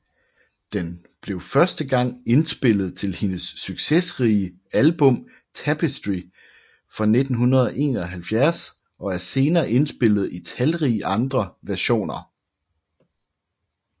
Den blev første gang indspillet til hendes succesrige album Tapestry fra 1971 og er senere indspillet i talrige andre versioner